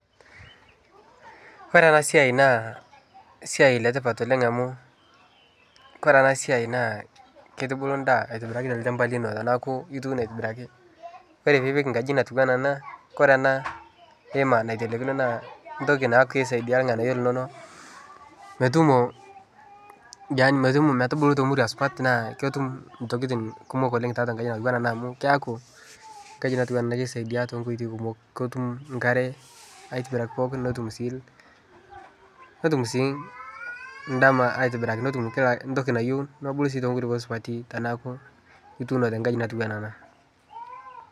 Ore ena siai naa esiai letipat oleng' amu kore ena siai naa kitubulu endaa aitibiraki tolchamba lino tenaaku ituuno aitibiraki. Ore piipik enkaji natiu enaa ena, kore ena hema naitelekino naa entoki naa kisaidia irang'anyio linonok metumo yaani metumo metubulu te murua supat, naa ketum intokitin kumok oleng' tiatua ekaji natiu enaa ena amu keeku enkaji natiu enaa ena kisaidia too nkoitoi kumok, ketum nkare aitibiraki pookin, netum sii netum sii endama aitibiraki netum kila netum entoki nayeu nebulu sii too nkulupok supati tenaaku ituuno tenkaji natiu enaa ena.